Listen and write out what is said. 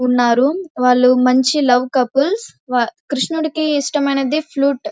ఉన్నారు వాళ్లు మంచి లవ్ కపుల్స్ వా కృష్ణుడికి ఇష్టమైనది ఫ్లూట్ .